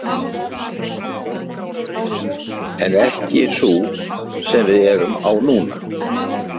En ekki sú sem við erum á núna.